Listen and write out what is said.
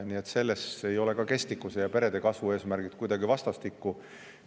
Nii et selles suhtes ei ole ka kestlikkuse ja perede kasvu eesmärgid kuidagi omavahel.